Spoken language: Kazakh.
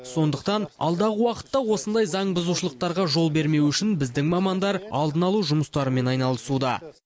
сондықтан алдағы уақытта осындай заңбұзушылықтарға жол бермеу үшін біздің мамандар алдын алу жұмыстарымен айналысуда